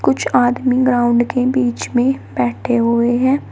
कुछ आदमी ग्राउंड के बीच में बैठे हुए हैं।